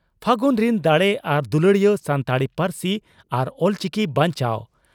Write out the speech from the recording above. ᱯᱷᱟᱹᱜᱩᱱ ᱨᱤᱱ ᱫᱟᱲᱮ ᱟᱨ ᱫᱩᱞᱟᱹᱲᱤᱭᱟᱹ ᱥᱟᱱᱛᱟᱲᱤ ᱯᱟᱹᱨᱥᱤ ᱟᱨ ᱚᱞᱪᱤᱠᱤ ᱵᱟᱧᱪᱟᱣ